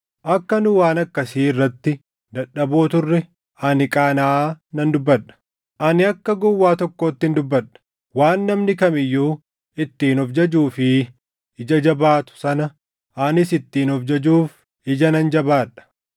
Akka nu waan akkasii irratti dadhaboo turre ani qaanaʼaa nan dubbadha. Ani akka gowwaa tokkoottin dubbadha; waan namni kam iyyuu ittiin of jajuu fi ija jabaatu sana anis ittiin of jajuuf ija nan jabaa dha.